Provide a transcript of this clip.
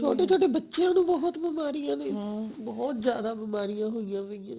ਛੋਟੇ ਚੋਟ ਬੱਚਿਆ ਨੂੰ ਬਹੁਤ ਬਿਮਾਰੀਆਂ ਨੇ ਬਹੁਤ ਜਿਆਦਾ ਬਿਮਾਰੀਆਂ ਹੋਇਆ ਵਈਆਂ